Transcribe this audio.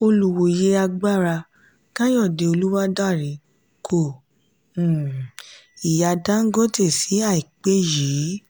olùwòye agbára kayode oluwadare kò um ihà dangote ní àìpé yí.